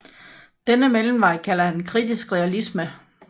Denne mellemvej kalder han kritisk realisme